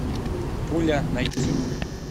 пуля найти